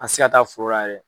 A se ka taa fora la yɛrɛ.